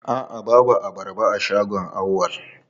A'a babu abarba a shagon Auwal.